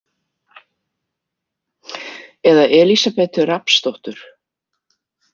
Eða Elísabetu Rafnsdóttur.